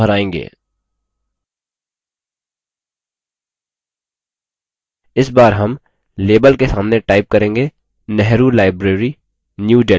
इस बार हम label के सामने time करेंगे nehru library new delhi